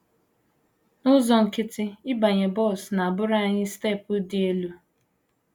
““ N’ụzọ nkịtị, ịbanye bọs na - abụrụ anyị steepụ dị elu.